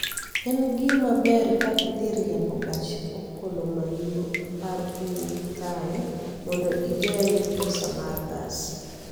En gima ber ka idhi riembo gach okolomairo apar kowuok kae mondo igeng� pesa ma gas